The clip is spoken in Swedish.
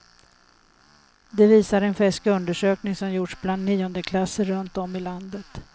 Det visar en färsk undersökning som gjorts bland niondeklasser runt om i landet.